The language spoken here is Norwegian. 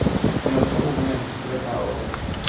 Det er nok av unge mennesker til å ta over.